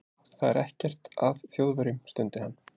Það er ekkert að Þjóðverjum stundi hann.